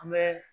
An bɛ